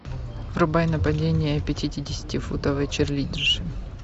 врубай нападение пятидесятифутовой чирлидерши